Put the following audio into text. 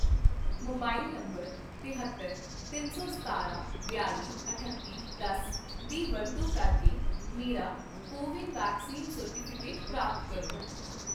mobile number ਤਹੇਤਰ, ਤਿੰਨ ਸੌ ਸਤਾਰਾਂ, ਬਿਆਲ਼ੀ, ਅਠੱਤੀ, ਦਸ ਦੀ ਵਰਤੋਂ ਕਰਕੇ ਮੇਰਾ ਕੋ ਵਿਨ ਵੈਕਸੀਨ ਸਰਟੀਫਿਕੇਟ ਪ੍ਰਾਪਤ ਕਰੋ